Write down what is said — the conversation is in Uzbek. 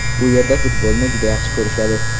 U yerda futbolni juda yaxshi ko‘rishadi.